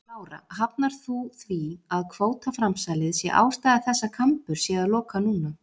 Lára: Hafnar þú því að kvótaframsalið sé ástæða þess að Kambur sé að loka núna?